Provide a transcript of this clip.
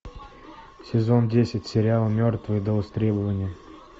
сезон десять сериал мертвые до востребования